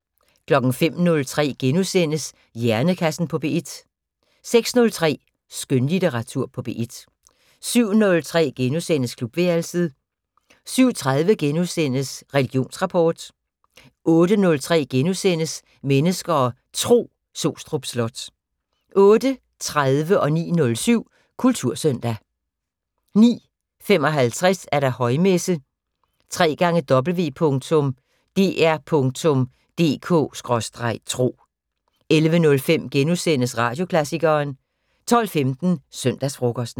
05:03: Hjernekassen på P1 * 06:03: Skønlitteratur på P1 07:03: Klubværelset * 07:30: Religionsrapport * 08:03: Mennesker og Tro: Sostrup Slot * 08:30: Kultursøndag 09:07: Kultursøndag 09:55: Højmesse - www.dr.dk/tro 11:05: Radioklassikeren * 12:15: Søndagsfrokosten